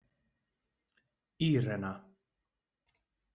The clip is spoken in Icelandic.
Írena